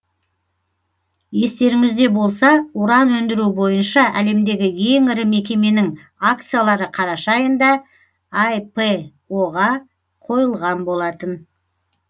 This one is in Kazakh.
естеріңізде болса уран өндіру бойынша әлемдегі ең ірі мекеменің акциялары қараша айында іро ға қойылған болатын